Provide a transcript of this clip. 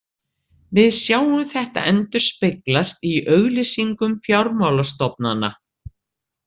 Við sjáum þetta endurspeglast í auglýsingum fjármálastofnana.